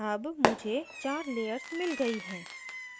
अब मुझे चार layers मिल गयी हैं